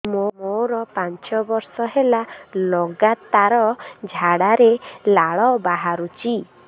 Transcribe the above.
ମୋରୋ ପାଞ୍ଚ ବର୍ଷ ହେଲା ଲଗାତାର ଝାଡ଼ାରେ ଲାଳ ବାହାରୁଚି